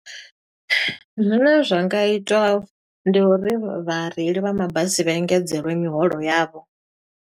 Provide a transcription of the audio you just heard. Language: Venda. Zwine zwa nga itwa, ndi uri vhareili vha mabasi vha engedzeliwe miholo yavho.